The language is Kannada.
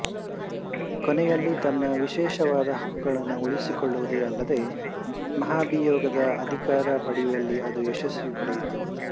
ಕೊನೆಯಲ್ಲಿ ತನ್ನ ವಿಶೇಷ ಹಕ್ಕುಗಳನ್ನು ಉಳಿಸಿಕೊಳ್ಳುವುದೇ ಅಲ್ಲದೆ ಮಹಾಭಿಯೋಗದ ಅಧಿಕಾರ ಪಡೆಯುವಲ್ಲಿ ಅದು ಯಶಸ್ಸು ಪಡೆಯಿತು